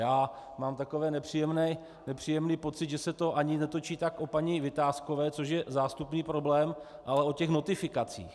Já mám takový nepříjemný pocit, že se to ani netočí tak o paní Vitáskové, což je zástupný problém, ale o těch notifikacích.